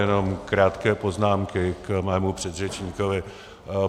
Jenom krátké poznámky k mému předřečníkovi.